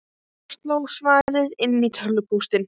Dóra sló svarið inn í tölvupóst.